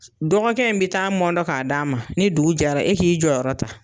Dɔgɔkɛ in be taa mɔndɔ ka d'a' ma, ni dugu jɛra e k'i jɔyɔrɔ yɔ ta.